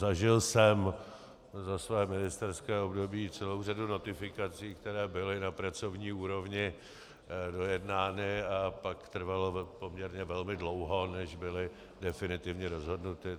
Zažil jsem za své ministerské období celou řadu notifikací, které byly na pracovní úrovni dojednány, a pak trvalo poměrně velmi dlouho, než byly definitivně rozhodnuty.